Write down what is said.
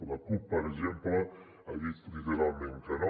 la cup per exemple ha dit literalment que no